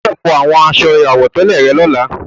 O gbọdọ̀ fọ àwọn aṣọ àwọ̀tẹ́lẹ̀ rẹ lọ́la.